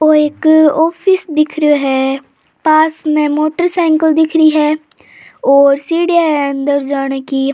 ओ एक ऑफिस दिख रो है पास में मोटर साइकल दिख है और सीढिया है अन्दर जाने की।